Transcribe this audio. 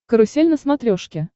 карусель на смотрешке